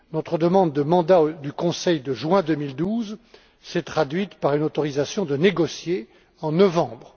Notre demande de mandat du Conseil de juin 2012 s'est traduite par une autorisation de négocier en novembre